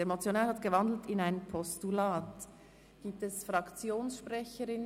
Der Motionär hat die Motion in ein Postulat umgewandelt.